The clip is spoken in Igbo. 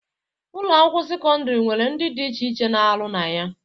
Ụlọ akwụkwọ sekọndịrị nwere ndị dị iche iche na-arụ na ya